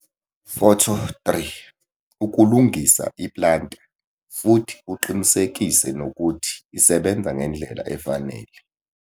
Photo 3- Ukulungisa i-planter futhi uqinisekise nokuthi isebenza ngendlela efanele.